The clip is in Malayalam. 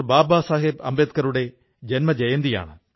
ബാബാ സാഹബ് അംബേദ്കറുടെ ജന്മ ജയന്തിയാണ്